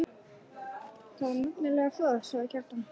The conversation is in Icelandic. Það er nefnilega það, sagði Kjartan.